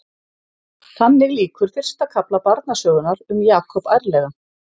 Þannig lýkur fyrsta kafla barnasögunnar um Jakob ærlegan.